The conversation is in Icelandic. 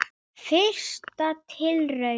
Fyrsta tilraun